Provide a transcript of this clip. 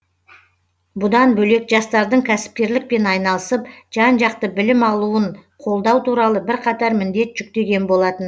бұдан бөлек жастардың кәсіпкерлікпен айналысып жан жақты білім алуын қолдау туралы бірқатар міндет жүктеген болатын